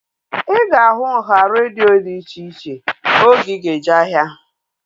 Ị ga-ahụ nhá redio dị iche iche oge ị ga-eje ahia